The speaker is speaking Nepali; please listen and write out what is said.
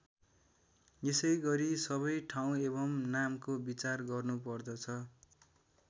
यसैगरी सबै ठाउँ एवं नामको विचार गर्नुपर्दछ।